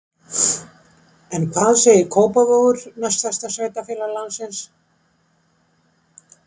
En hvað segir Kópavogur, næst stærsta sveitarfélag landsins?